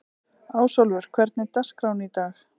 Ásólfur, hvernig er dagskráin í dag?